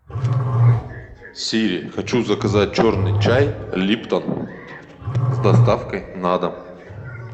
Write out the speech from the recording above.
сири хочу заказать черный чай липтон с доставкой на дом